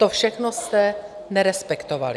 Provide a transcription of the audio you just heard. To všechno jste nerespektovali.